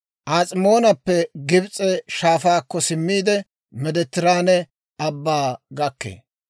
As'imoonappe Gibs'e Shaafaakko simmiide, Meediteraane Abbaa gakkee.